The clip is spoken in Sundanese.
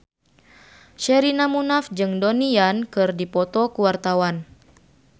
Sherina Munaf jeung Donnie Yan keur dipoto ku wartawan